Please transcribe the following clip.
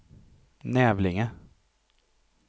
Nävlinge